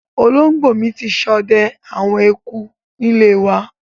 Olóngbò mi n sode àwon eku níléwa